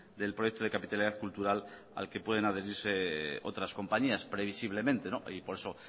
del proyecto de capitalidad cultural al que pueden adherirse otras compañías previsiblemente y por eso